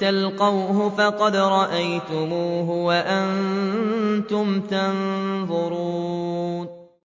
تَلْقَوْهُ فَقَدْ رَأَيْتُمُوهُ وَأَنتُمْ تَنظُرُونَ